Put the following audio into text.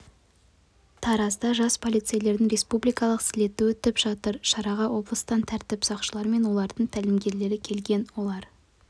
таразда жас полицейлердің республикалық слеті өтіп жатыр шараға облыстан тәртіп сақшылары мен олардың тәлімгерлері келген олар